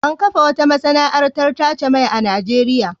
An kafa wata masana'antar tace mai a Najeriya.